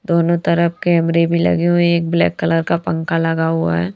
दोनों तरफ कैमरे भी लगे हुए हैं एक ब्लैक कलर का पंखा लगा हुआ है।